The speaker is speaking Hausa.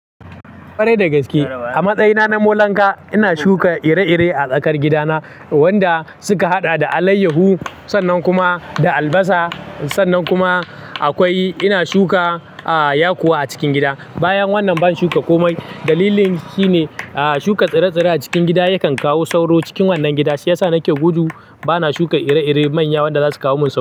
Kwarai da gaske. A matsayina na molanka, ina shuka ire-ire a tsakar gidana wanda suka haɗa da alayyahu, sannan kuma da albasa, sannan kuma akwai ina shuka, ah, yakuwa a cikin gida. Bayan wannan ban shuka komai. Dalilin shine, ah, shuka tsire-tsire a cikin gida yakan kawo sauro cikin wannan gida. Shi ya sa nake gudu. Bana shuka ire-ire manya wanda za su kawo mun sauro.